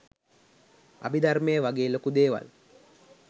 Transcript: අභිධර්මය වගේ ලොකු දේවල්